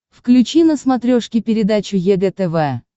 включи на смотрешке передачу егэ тв